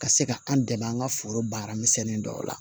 Ka se ka an dɛmɛ an ka foro baara misɛnnin dɔw la